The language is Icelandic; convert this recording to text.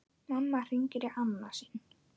Mamma hringir í annað sinn.